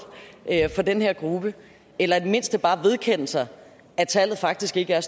for den her gruppe eller i det mindste bare vedkende sig at tallet faktisk ikke er